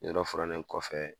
Yɔrɔ furannen kɔfɛ